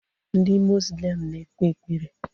Ndị muzlim na-ekpe ekpere